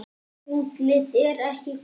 Útlitið er ekki gott.